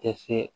Tɛ se